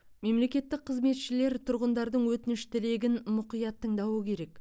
мемлекеттік қызметшілер тұрғындардың өтініш тілегін мұқият тыңдауы керек